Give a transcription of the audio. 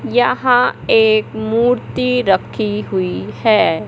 यहां एक मूर्ति रखी हुई है।